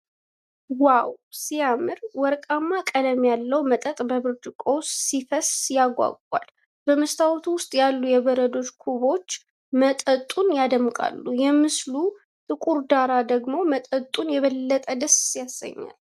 ዋው፣ ሲያምር! ወርቃማ ቀለም ያለው መጠጥ በብርጭቆ ውስጥ ሲፈስ ያጓጓል ። በመስታወቱ ውስጥ ያሉት የበረዶ ኩቦች መጠጡን ያደምቃሉ። የምስሉ ጥቁር ዳራ ደግሞ መጠጡን የበለጠ ደስ ያሰኛል።